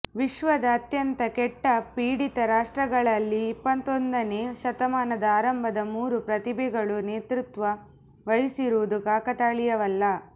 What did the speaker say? ವಿಶ್ವದ ಅತ್ಯಂತ ಕೆಟ್ಟ ಪೀಡಿತ ರಾಷ್ಟ್ರಗಳಲ್ಲಿ ಇಪ್ಪತ್ತೊಂದನೇ ಶತಮಾನದ ಆರಂಭದ ಮೂರು ಪ್ರತಿಭೆಗಳು ನೇತೃತ್ವ ವಹಿಸಿರುವುದು ಕಾಕತಾಳೀಯವಲ್ಲ